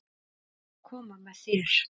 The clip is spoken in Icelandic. Ég ætla að koma með þér!